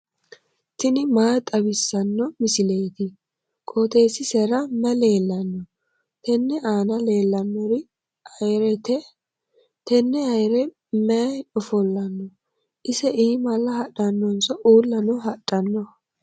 tini maa xawissanno misileeti? qooxeessisera may leellanno? tenne aana leellannori ayyirete. tenne ayyire mayi oofanno? ise iimalla hadhannonso uullano hadhanno?